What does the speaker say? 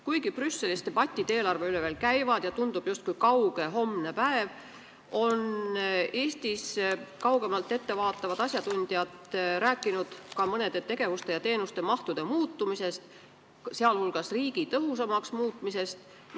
Kuigi Brüsselis debatid eelarve üle veel käivad ja muudatused tunduvad kauged justkui homne päev, on Eestis kaugemale ette vaatavad asjatundjad juba rääkinud mõnede tegevuste ja teenuste mahtude muutumisest, viidates vajadusele riiki tõhusamaks muuta.